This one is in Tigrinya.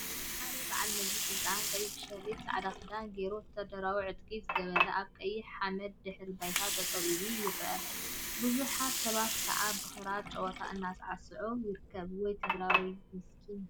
ሓደ በዓል መዚ/ስልጣን ቀይሕ ሸሪጥን ፃዕዳ ክዳንን ገይሩ ወታደራዊ ጥዕቂ ዝገበረ አብ ቀይሕ ሓመደ ድሕረ ባይታ ጠጠው ኢሉ ይርከብ፡፡ ቡዙሓት ሰባት ከዓ ብክራር ጨወታ እናሳዕስዓ ይርከባ፡፡ ወይ ትግራዋይ ሚስክን!